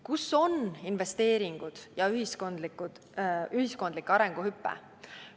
Kus on investeeringud ja ühiskondlik arenguhüpe?